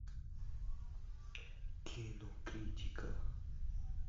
кинокритика